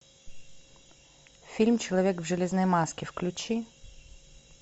фильм человек в железной маске включи